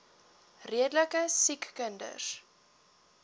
redelike siek kinders